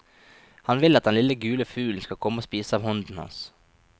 Han vil at den lille gule fuglen skal komme og spise av hånden hans.